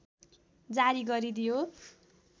जारी गरिदियो